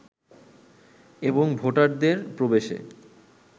এবং ভোটারদের প্রবেশে